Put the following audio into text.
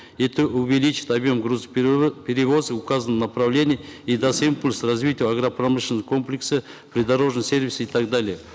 это увеличит объем перевозок в указанном направлении и даст импульс развитию агропромышленного комплекса придорожного сервиса и так далее